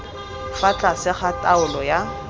fa tlase ga taolo ya